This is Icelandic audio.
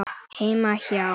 Heima hjá